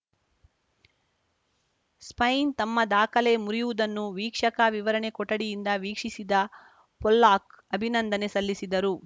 Spain ತಮ್ಮ ದಾಖಲೆ ಮುರಿಯುವುದನ್ನು ವೀಕ್ಷಕ ವಿವರಣೆ ಕೊಠಡಿಯಿಂದ ವೀಕ್ಷಿಸಿದ ಪೊಲ್ಲಾಕ್‌ ಅಭಿನಂದನೆ ಸಲ್ಲಿಸಿದರು